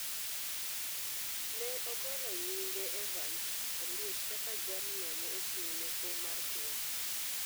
ne ogolo nyinge Evans Oliech kaka jalno ma ochung’ ne kom mar ker.